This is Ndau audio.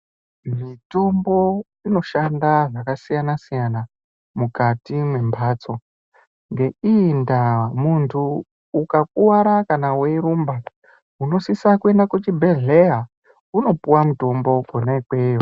Mitombo inoshanda zvakasiyana-siyana, mukati mwemphatso. Ngeiyi ndaa ,muntu ukakuwara kana weirumba, unosisa kuenda kuchibhedhleya ,unopuwa mitombo kwona ikweyo.